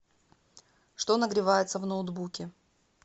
что нагревается в ноутбуке